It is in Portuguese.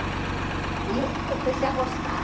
E eu comecei a gostar.